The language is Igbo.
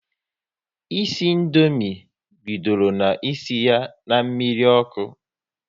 Isi Indomie bidoro na isi ya na mmiri ọkụ